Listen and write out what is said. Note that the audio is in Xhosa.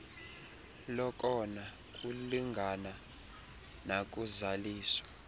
lokona kulungana nakuzaliso